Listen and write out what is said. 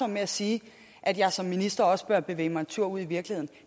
med at sige at jeg som minister også bør bevæge mig en tur ud i virkeligheden